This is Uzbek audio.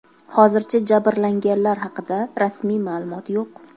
Hozircha jabrlanganlar haqida rasmiy ma’lumot yo‘q.